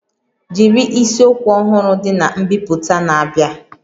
Jiri isiokwu ọhụrụ dị na mbipụta na-abịa